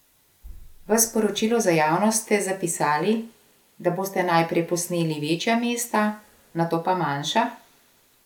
V sporočilu za javnost ste zapisali, da boste najprej posneli večja mesta, nato pa manjša?